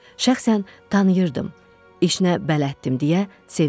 Şəxsən tanıyırdım, işinə bələddim deyə sevindim.